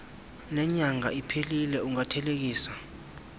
nenyanga iphelile ungathelekisa